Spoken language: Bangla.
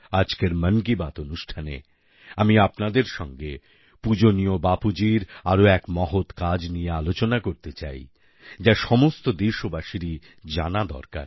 আজকের মন কি বাত অনুষ্ঠানে আমি আপনাদের সঙ্গে পূজনীয় বাপুজীর আরও এক মহৎ কাজ নিয়ে আলোচনা করতে চাই যা সমস্ত দেশবাসীরই জানা দরকার